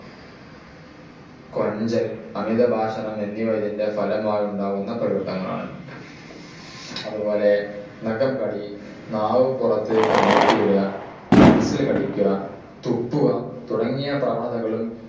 കൊഞ്ചൽ അമിതഭാഷണം എന്നിവ ഇതിൻ്റെ ഫലമായുണ്ടാകുന്ന പ്രകൃതങ്ങളാണ്. അതുപോലെ നഖം കടി നാവു പുറത്തേക്കു നീട്ടിയിടുക പെൻസിൽ കടിക്കുക തുപ്പുക തുടങ്ങിയ പ്രവണതകളും